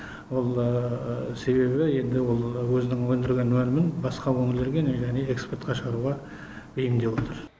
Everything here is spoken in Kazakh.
ол себебі енді ол өзінің өндірген өнімін басқа өңірлерге және экспортқа шығаруға бейімдеп отыр